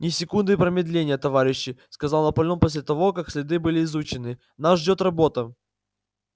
ни секунды промедления товарищи сказал наполеон после того как следы были изучены нас ждёт работа